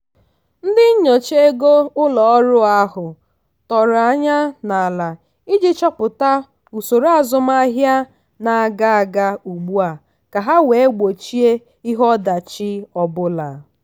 ndị nyocha ego ụlọ ọrụ ahụ tọrọ anya n'ala iji chọpụta usoro azụmahịa na-aga aga ugbua ka ha wee gbochie ihe ọdachi ọbụla.